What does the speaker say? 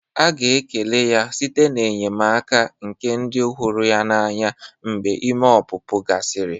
A ga-ekele ya site n'enyemaka nke ndị ọ hụrụ n'anya mgbe ime ọpụpụ gasịrị.